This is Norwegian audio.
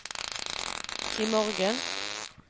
imorgen